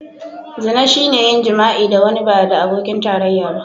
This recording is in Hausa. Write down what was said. Zina shine yin jima'i da wani ba da abokin tarayya ba.